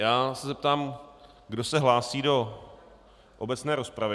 Já se zeptám, kdo se hlásí do obecné rozpravy.